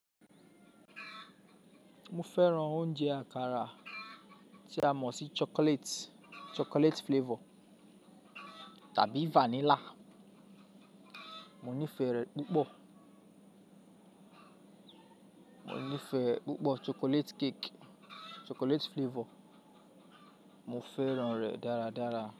Mo fẹ́ran oúnjẹ àkàrà tí a mọ̀ sí chocolate, chocolate flavor tàbí vanilla. Mo nífẹ̀ẹ́ rẹ̀ púpọ̀. Mo nífẹ̀ẹ́ púpọ̀ chocolate cake, chocolate flavor. Mo fẹ́ran rẹ̀ dáradára.